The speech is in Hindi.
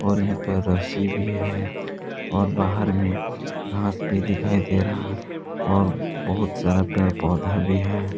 और यहा पे रस्सी भी है और बाहर में घास भी दिखाई दे रहा और बहुत सारा पेड़ पौधा भी है।